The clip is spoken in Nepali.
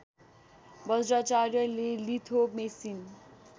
बज्राचार्यले लिथो मेसिन